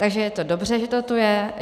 Takže je to dobře, že to tu je.